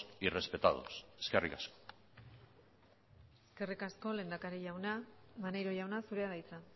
y respetados eskerrik asko eskerrik asko lehendakari jauna maneiro jauna zurea da hitza